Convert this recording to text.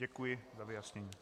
Děkuji za vyjasnění.